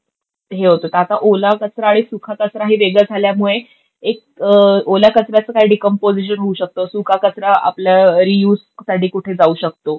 खूप हे होत होता. आता ओला कचरा आणि सुका कचरा हे वेगळं झाल्यामुळे एक ओल्या कचऱ्याचं काय डीकम्पोजीशन होऊ शकतं, सुका कचरा आपल्या युजसाठी कुठे जाऊ शकतो?